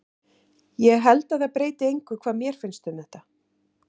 Ég held að það breyti engu hvað mér finnst um þetta.